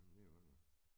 Men det jo godt nok